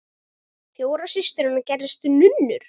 Fjórar systur hennar gerðust nunnur.